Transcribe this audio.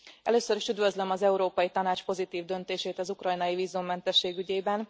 Először is üdvözlöm az Európai Tanács pozitív döntését az ukrajnai vízummentesség ügyében.